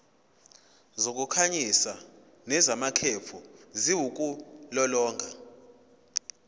zokukhanyisa nezamakhefu ziwulolonga